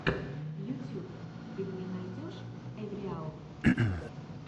ютюб ты мне найдешь эвриал